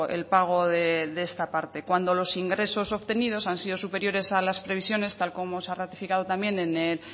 el pago de esta parte cuando los ingresos obtenidos han sido superiores a las previsiones tal como se ha ratificado también en el